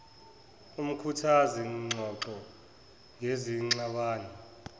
umkhuthazi ngxoxo ngezingxabano